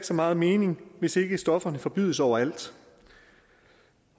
så meget mening hvis ikke stofferne forbydes overalt